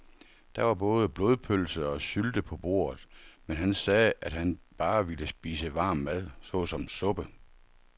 Der var både blodpølse og sylte på bordet, men han sagde, at han bare ville spise varm mad såsom suppe.